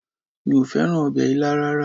Mi ò fẹ́ràn ọbẹ̀ ilá rárá